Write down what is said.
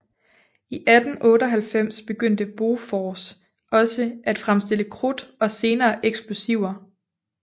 I 1898 begyndte Bofors også at fremstille krudt og senere eksplosiver